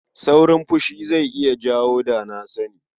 Saurin fushi zai iya jawo da-na-sani.